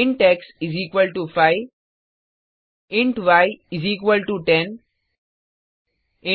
int x 5 int y 10